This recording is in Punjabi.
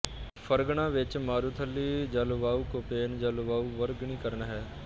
ਫ਼ਰਗਨਾ ਵਿੱਚ ਮਾਰੂਥਲੀ ਜਲਵਾਯੂ ਕੋਪੇਨ ਜਲਵਾਯੂ ਵਰਗੀਕਰਨ ਹੈ